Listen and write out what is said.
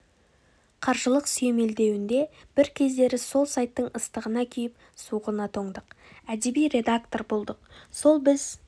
қаржылық сүйемелдеуінде бір кездері сол сайттың ыстығына күйіп суығына тоңдық әдеби редактор болдық сол біз